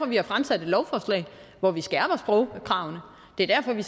vi har fremsat et lovforslag hvor vi skærper sprogkravene og det er derfor vi